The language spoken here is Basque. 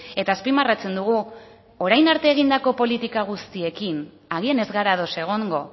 eta azpimarratzen dugu orain arte egindako politika guztiekin agian ez gara ados egongo